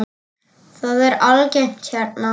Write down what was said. Það er algengt hérna.